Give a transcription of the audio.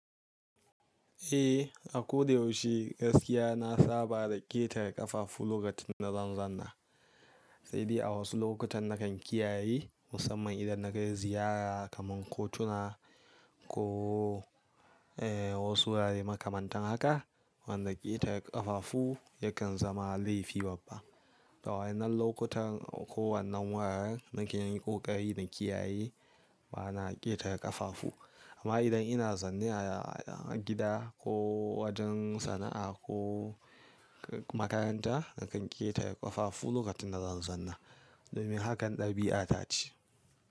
Eh, a ko da yaushe gaskiya na saba da ƙetara ƙafafu lokacin da zan zanna. Sai dai a wasu lokutan nakan kiyaye musamman idan na kai ziyara kamar kotuna ko wasu wurare makamantan haka wanda ƙetara ƙafafu yakan zama laifi babba. Da waɗannan lokutan ko wannan wuraren nakan yi ƙoƙari na kiyaye ba na ƙetara ƙafafu. Amma idan ina zanne a gida ko wajen sana'a ko makaranta nakan ƙetara ƙafafu lokacin da zan zanna domin hakan ɗabi'a ta ce.